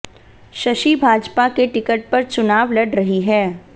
शशि भाजपा के टिकट पर चुनाव लड़ रही है